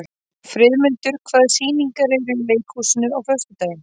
Friðmundur, hvaða sýningar eru í leikhúsinu á föstudaginn?